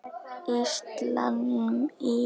Íslam í Noregi.